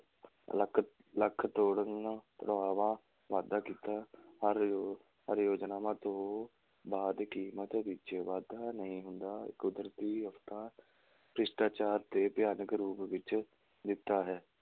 ਲੱਕ ਲੱਕ ਤੋੜਨ ਤੁੜਾਵਾ ਵਾਧਾ ਕੀਤਾ ਹਰ ਯੋ~ ਹਰ ਯੋਜਨਾਵਾਂ ਤੋਂ ਬਾਅਦ ਕੀਮਤ ਵਿੱਚ ਵਾਧਾ ਨਹੀਂ ਹੁੰਦਾ, ਕੁਦਰਤੀ ਆਫ਼ਤਾਂ, ਭ੍ਰਿਸ਼ਟਾਚਾਰ ਤੇ ਭਿਆਨਕ ਰੂਪ ਵਿੱਚ ਦਿੱਤਾ ਹੈ।